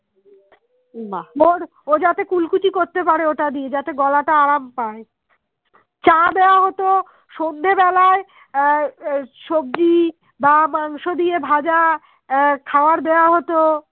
সন্ধে বেলায় আহ সবজি বা মাংস দিয়ে ভাজা খাবার দেওয়া হতো